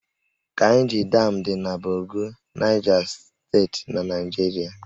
Kainji Dam dị na Bogu, Naịja Steeti na Naịjirịa